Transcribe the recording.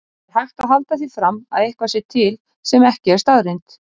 Er hægt að halda því fram að eitthvað sé til sem ekki er staðreynd?